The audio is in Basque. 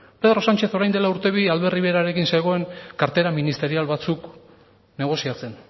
pedro sánchez orain dela urte bi albert riverarekin zegoen kartera ministerial batzuk negoziatzen